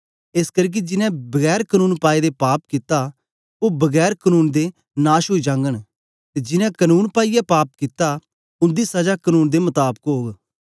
एसकरी के जिन्नें बिना कनून पाएदे पाप कित्ता ओ बिना कनून दे नाश ओई जागन ते जिन्नें कनून पाईयै पाप कित्ता उन्दी सजा कनून दे मताबक ओग